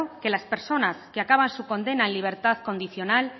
que las personas que acaban su condena en libertad condicional